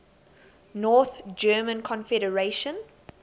north german confederation